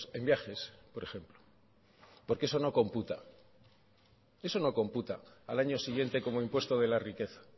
en viajes por ejemplo porque eso no computa al año siguiente como impuesto de la riqueza